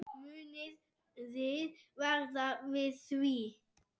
Muniði verða við því?